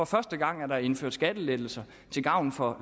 første gang at der indføres skattelettelser til gavn for